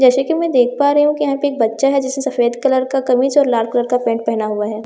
जैसे की मैं देख पा रही हूँ के यहां पे एक बच्चा हैं जिसने सफेद कलर का कमीज और लाल कलर का पेंट पेहना हुआ हैं --